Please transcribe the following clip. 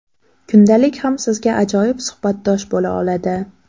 Kundalik ham sizga ajoyib suhbatdosh bo‘la oladi.